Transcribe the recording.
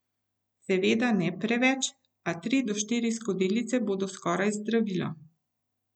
Seveda ne preveč, a tri do štiri skodelice bodo skoraj zdravilo.